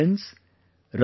My dear friends,